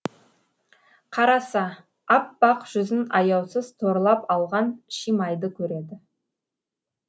қараса аппақ жүзін аяусыз торлап алған шимайды көреді